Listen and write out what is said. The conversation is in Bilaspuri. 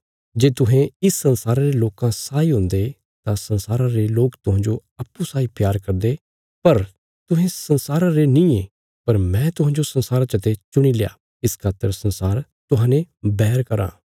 जे तुहें इस संसारा रे लोकां साई हुंदे तां संसारा रे लोक तुहांजो अप्पूँ साई प्यार करदे पर तुहें संसारा रे नींये पर मैं तुहांजो संसारा चते चुणील्या इस खातर संसार तुहांजो बैर कराँ